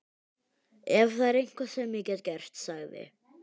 Ef það er eitthvað sem ég get gert- sagði